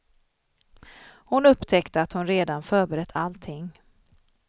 Hon upptäckte att hon redan förberett allting.